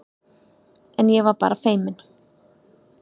En ég var bara feiminn.